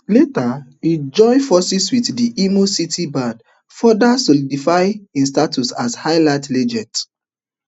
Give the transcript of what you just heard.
later e join forces wit di imo city band further solidifying hin status as highlife legend